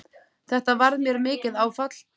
Þetta varð mér mikið áfall.